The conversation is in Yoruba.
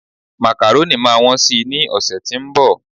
macaroni ma won sì ni ọsẹ ti onbo